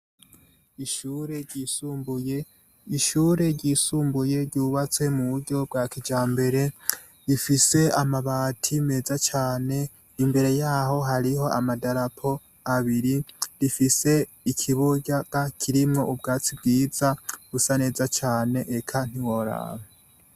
ishure ryisumbuye ryubatse mu buryo bwa kijambere rifise amabati meza cyane imbere yaho hariho amadarapo abiri rifise ikibuga kirimo ubwatsi bwiza busa neza cane eka ntiworaba